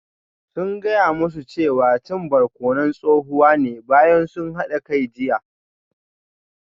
Sun gaya musu cewa cin barkonon tsohuwa ne bayan sun hada kai jiya